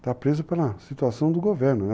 Está preso pela situação do governo.